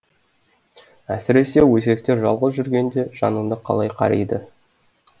әсіресе өсектер жалғыз жүргенде жаныңды қалай қариды